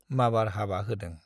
माबार हाबा होदों।